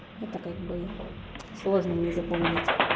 это как бы сложно не запомнить